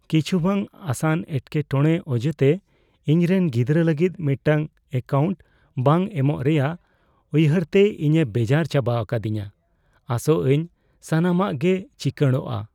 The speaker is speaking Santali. ᱠᱤᱪᱷᱩ ᱵᱟᱝ ᱟᱥᱟᱱ ᱮᱴᱠᱮᱼᱴᱚᱲᱮ ᱚᱡᱮᱛᱮ ᱤᱧᱨᱮᱱ ᱜᱤᱫᱽᱨᱟᱹ ᱞᱟᱹᱜᱤᱫ ᱢᱤᱫᱴᱟᱝ ᱮᱹᱠᱟᱣᱩᱱᱴ ᱵᱟᱝ ᱮᱢᱚᱜ ᱨᱮᱭᱟᱜ ᱩᱭᱦᱟᱹᱨ ᱛᱮ ᱤᱧᱮ ᱵᱮᱡᱟᱨ ᱪᱟᱵᱟ ᱟᱠᱟᱫᱤᱧᱟᱹ, ᱟᱥᱚᱜ ᱟᱹᱧ ᱥᱟᱱᱟᱢᱟᱜ ᱜᱮ ᱪᱤᱠᱟᱹᱲᱜᱚᱼᱟ ᱾